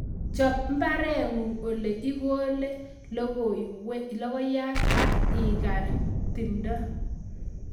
Chop mbaren'ung' ole ikolee logoiyat ak igar timdo